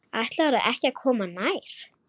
Ætlarðu ekki að koma nær?